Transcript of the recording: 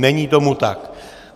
Není tomu tak.